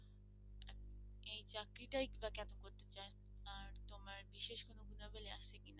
এই চাকরিটাই বা কেন করতে চাও আর তোমার বিশেষ কোনো গুণাবলী আছে কিনা।